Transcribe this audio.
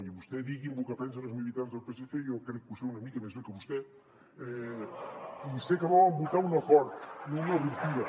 i vostè digui’m lo que pensen els militants del psc i jo crec que ho sé una mica més bé que vostè i sé que volen votar un acord no una ruptura